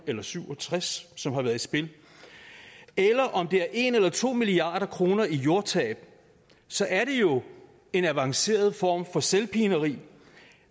eller syv og tres som har været i spil eller om det er en eller to milliard kroner i jordtab så er det jo en avanceret form for selvpineri